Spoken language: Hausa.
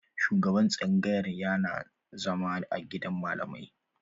Shugaban tsangayar yana zama a gidan malamai.